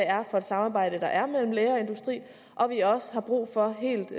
er for et samarbejde der er mellem læger og industri og at vi også har brug for helt